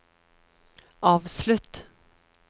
avslutt